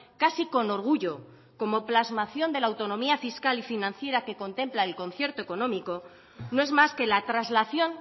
casi con orgullo como plasmación de la autonomía fiscal y financiera que contempla el concierto económico no es más que la traslación